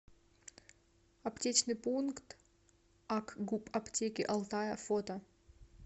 аптечный пункт акгуп аптеки алтая фото